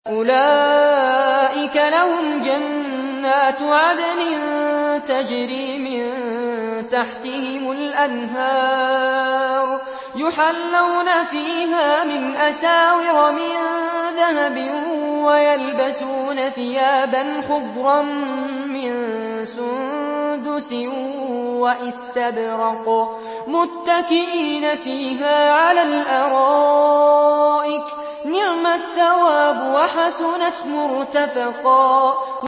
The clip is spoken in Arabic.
أُولَٰئِكَ لَهُمْ جَنَّاتُ عَدْنٍ تَجْرِي مِن تَحْتِهِمُ الْأَنْهَارُ يُحَلَّوْنَ فِيهَا مِنْ أَسَاوِرَ مِن ذَهَبٍ وَيَلْبَسُونَ ثِيَابًا خُضْرًا مِّن سُندُسٍ وَإِسْتَبْرَقٍ مُّتَّكِئِينَ فِيهَا عَلَى الْأَرَائِكِ ۚ نِعْمَ الثَّوَابُ وَحَسُنَتْ مُرْتَفَقًا